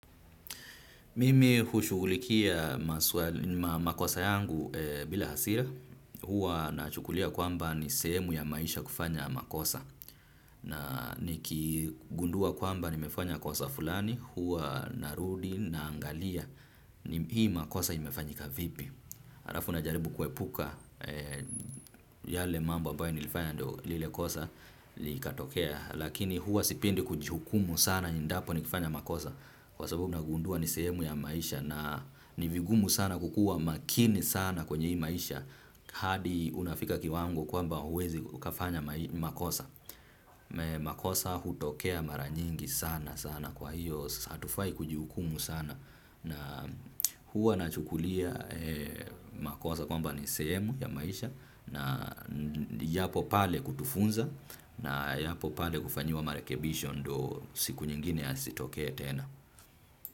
Mimi hushughulikia makosa yangu bila hasira, huwa na chukulia kwamba ni sehemu ya maisha kufanya makosa. Na nikigundua kwamba nimefanya kosa fulani, huwa narudi na angalia hii makosa imefanyika vipi. Halafu najaribu kuepuka yale mambo ambayo nilifanya ndio lile kosa likatokea. Lakini huwa sipendi kujihukumu sana endapo nikifanya makosa kwa sababu nagundua ni sehemu ya maisha. Na ni vigumu sana kukua makini sana kwenye hii maisha. Hadi unafika kiwango kwamba huwezi ukafanya makosa. Makosa hutokea maranyingi sana sana kwa hiyo hatufai kujihukumu sana. Na huwa nachukulia ee makosa kwamba ni sehemu ya maisha na yapo pale kutufunza na yapo pale kufanyiwa marekebisho ndio siku nyingine yasitokea tena.